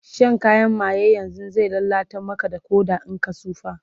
Shan kayan maye yanzun zai lallata Maka Ƙoda in ka tsufa